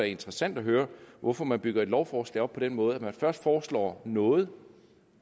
interessant at høre hvorfor man bygger et lovforslag op på den måde at man først foreslår noget